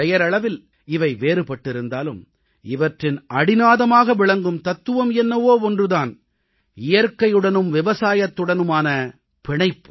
பெயரளவில் இவை வேறுபட்டிருந்தாலும் இவற்றின் அடிநாதமாக விளங்கும் தத்துவம் என்னவோ ஒன்று தான் இயற்கையுடனும் விவசாயத்துடனான பிணைப்பு